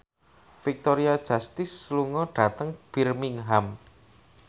Victoria Justice lunga dhateng Birmingham